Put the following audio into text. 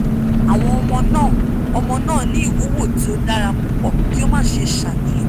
awọn ọmọ naa ọmọ naa ni iwuwo ti o dara pupọ ki o má ṣe ṣàníyàn